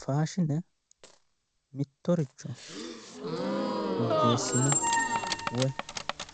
faashine mittoricho woyyeessine woyi